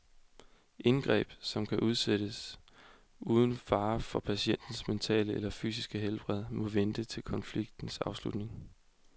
Indgreb, som kan udsættes uden fare for patientens mentale eller fysiske helbred, må vente til konfliktens afslutning.